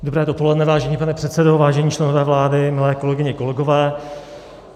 Dobré dopoledne, vážený pane předsedo, vážení členové vlády, milé kolegyně, kolegové.